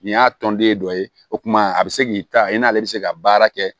Nin y'a tɔnden dɔ ye o tuma a bɛ se k'i ta i n'ale bɛ se ka baara kɛ